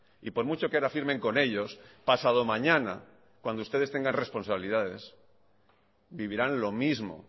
y por mucho que ahora firmen con ellos pasado mañana cuando ustedes tengan responsabilidades vivirán lo mismo